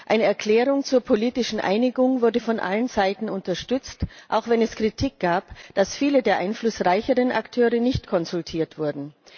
Eine Erklärung zur politischen Einigung wurde von allen Seiten unterstützt, auch wenn es Kritik gab, dass viele der einflussreicheren Akteure nicht konsultiert wurden.